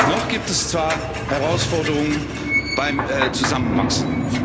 Noch gibt es zwar Herausforderungen beim Zusammenwachsen.